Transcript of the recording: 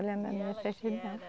Olhando na minha certidão.